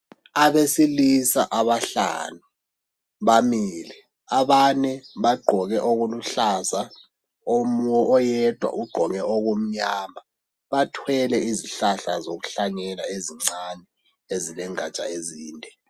Abesilisa abahlanu, bamile. Abane bagqoke okuluhlaza, oyedwa ugqoke okumnyama. Bathwele izihlahla zokuhlanyela ezincane, ezilengaja ezinde.